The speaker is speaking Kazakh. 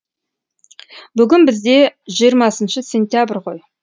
бүгін бізде жиырмасыншы сентябрь ғой